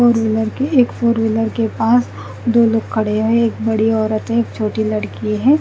Four wheeler के एक four wheeler के पास दो लोग खड़े हुए है एक बड़ी औरत है और एक छोटी लड़की है।